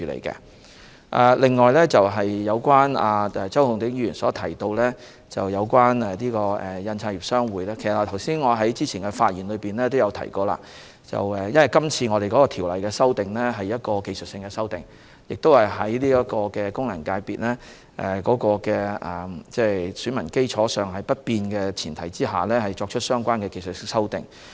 此外，周浩鼎議員提到有關香港印刷業商會，我在之前的發言表示，因為今次《2019年選舉法例條例草案》是技術性的修訂，是在功能界別選民基礎不變的前提下作出技術性修訂。